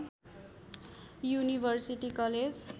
university college